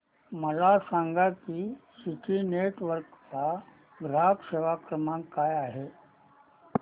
मला सांगा की सिटी नेटवर्क्स चा ग्राहक सेवा क्रमांक काय आहे